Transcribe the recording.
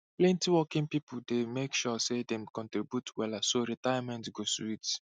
plenty working people dey make sure say dem dey contribute wella so retirement go sweet